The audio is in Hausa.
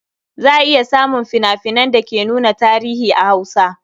Za a iya samun fina-finan da ke nuna tarihi a Hausa.